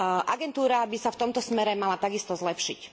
Agentúra by sa v tomto smere mala takisto zlepšiť.